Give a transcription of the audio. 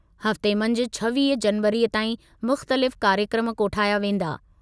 हफ़्ते मंझि छवीह जनवरीअ ताईं मुख़्तलिफ़ कार्यक्रमु कोठाया वेंदा।